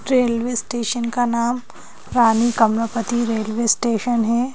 Railway station का नाम Rani Kamalapati railway station है।